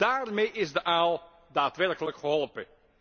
Daarmee is de aal daadwerkelijk geholpen.